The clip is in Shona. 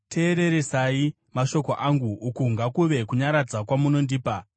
“Teereresa mashoko angu; uku ngakuve kunyaradza kwaunondipa.